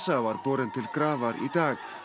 var borinn til grafar í dag